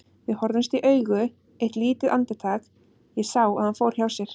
Við horfðumst í augu eitt lítið andartak, ég sá að hann fór hjá sér.